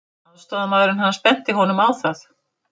Aðstoðarmaðurinn hans benti honum á það.